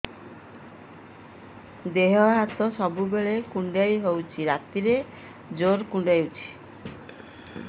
ଦେହ ହାତ ସବୁବେଳେ କୁଣ୍ଡିଆ ହଉଚି ରାତିରେ ଜୁର୍ କୁଣ୍ଡଉଚି